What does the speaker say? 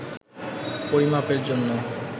পরিমাপের জন্য